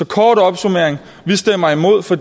kort opsummering vi stemmer imod for